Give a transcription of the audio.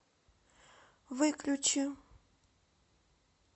выключи